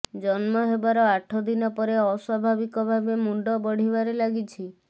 ଜନ୍ମ ହେବାର ଆଠ ଦିନ ପରେ ଅସ୍ୱାଭାବିକ ଭାବେ ମୁଣ୍ଡ ବଢିବାରେ ଲାଗିଛି